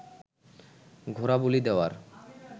ঘোড়া বলি দেওয়ার